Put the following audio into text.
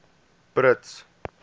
brits